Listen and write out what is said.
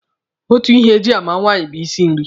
Otu ihe e ji alụ nwaanyị bụ isi nri.